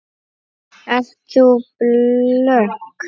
Ert þú blönk?